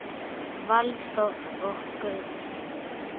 Valþór og Guðrún.